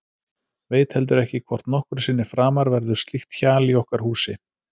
Veit heldur ekki hvort nokkru sinni framar verður slíkt hjal í okkar húsi.